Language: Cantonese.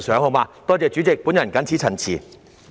多謝代理主席，我謹此陳辭。